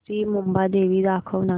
श्री मुंबादेवी दाखव ना